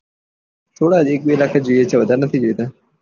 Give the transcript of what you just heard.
થોડા એક બે લાખ ને જોયીયે છે વધાર નથી જોયીતું